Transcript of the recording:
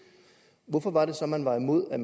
hvorfor var det så man var imod at